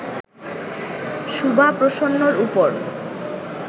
শুভা প্রসন্নর ওপর